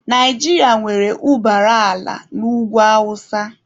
Naijiria nwere ụbara ala n'ugwu awụsa.